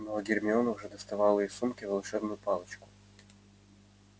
но гермиона уже доставала из сумки волшебную палочку